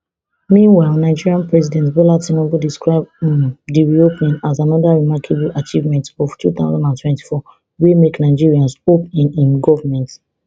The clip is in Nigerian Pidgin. meanwhile nigeria president bola tinubu describe um di reopening as anoda remarkable achievement of two thousand and twenty-four wey make nigerians hope in im goment stronger